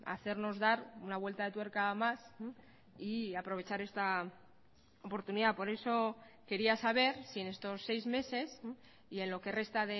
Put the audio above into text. hacernos dar una vuelta de tuerca más y aprovechar esta oportunidad por eso quería saber si en estos seis meses y en lo que resta